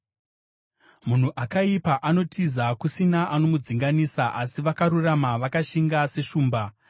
Munhu akaipa anotiza kusina anomudzinganisa, asi vakarurama vakashinga seshumba.